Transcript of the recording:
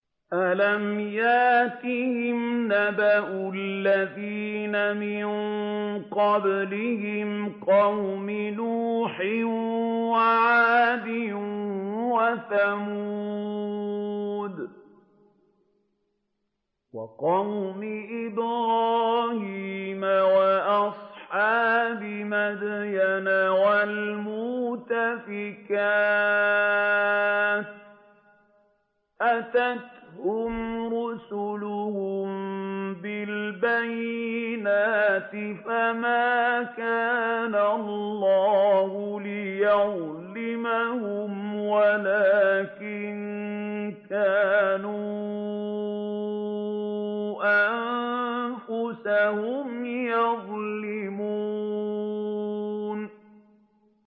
أَلَمْ يَأْتِهِمْ نَبَأُ الَّذِينَ مِن قَبْلِهِمْ قَوْمِ نُوحٍ وَعَادٍ وَثَمُودَ وَقَوْمِ إِبْرَاهِيمَ وَأَصْحَابِ مَدْيَنَ وَالْمُؤْتَفِكَاتِ ۚ أَتَتْهُمْ رُسُلُهُم بِالْبَيِّنَاتِ ۖ فَمَا كَانَ اللَّهُ لِيَظْلِمَهُمْ وَلَٰكِن كَانُوا أَنفُسَهُمْ يَظْلِمُونَ